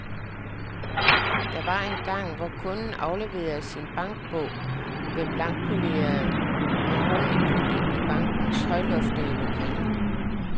Der var engang, hvor kunden afleverede sin bankbog ved blankpolerede mahognipulte i bankernes højloftede lokaler.